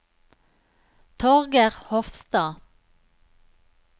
Torger Hofstad